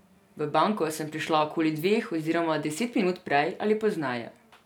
V banko sem prišla okoli dveh oziroma deset minut prej ali pozneje.